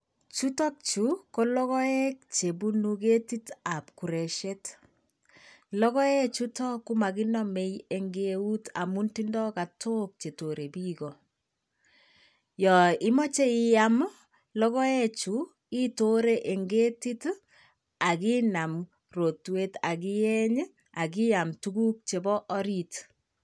Chutok chu ko logoek chebunu ketitab kuresiet. Logoek chuto komakinomei eng eut amun tindoi katok chetorei biik. Yoo imoche iyam logoechu itoree en ketit, akinam rotwet akiyeny akiyam tuguk cheboo oriit.